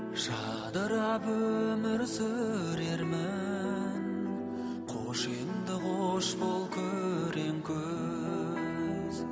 жадырап өмір сүрермін қош енді қош бол күрең күз